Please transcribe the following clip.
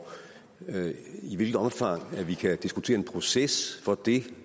i hvilket omfang vi kan diskutere en proces for det